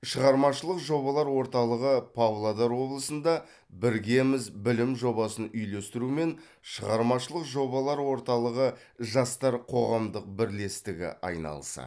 шығармашылық жобалар орталығы павлодар облысында біргеміз білім жобасын үйлестірумен шығармашылық жобалар орталығы жастар қоғамдық бірлестігі айналысады